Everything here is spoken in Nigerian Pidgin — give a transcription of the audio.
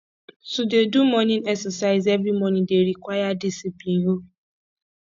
to dey do morning exercise every morning dey require discipline o